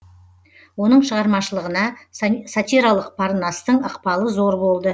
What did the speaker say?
оның шығармашылығына сатиралық парнастың ықпалы зор болды